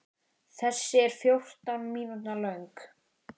Þessi er fjórtán mínútna löng.